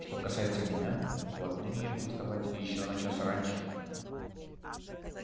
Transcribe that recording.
что касается меня то отныне я буду вставать ещё на час раньше